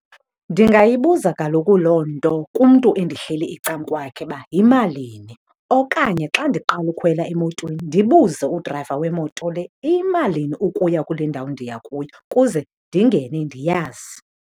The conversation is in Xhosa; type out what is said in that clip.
Ndingayibuza kaloku loo nto kumntu endihleli ecakwakhe uba yimalini okanye xa ndiqala ukhwela emotweni ndibuze udrayiva wemoto le, iyimalini ukuya kule ndawo ndiya kuyo kuze ndingene ndiyazi.